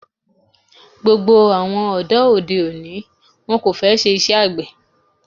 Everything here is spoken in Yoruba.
Gbogbo àwọn ọ̀dọ́ òde òní ni wón kò fẹ́ ṣe iṣẹ́ àgbè.